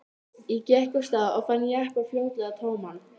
Ég gekk af stað og fann jeppann fljótlega tóman.